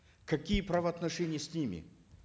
какие правоотношения с ними